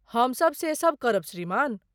हमसब से सब करब श्रीमान।